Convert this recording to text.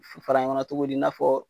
F fara ɲɔgɔnna togodi i n'a fɔɔ